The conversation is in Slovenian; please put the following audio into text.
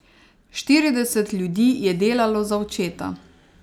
Štirideset ljudi je delalo za očeta.